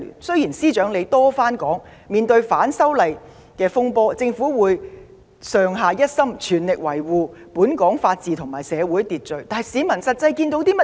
雖然司長多番表示，面對反修例風波，政府團隊會上下一心，全力維護本港法治和社會秩序。但市民實際上看到甚麼？